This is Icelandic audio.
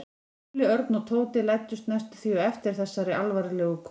Lúlli, Örn og Tóti læddust næstum því á eftir þessari alvarlegu konu.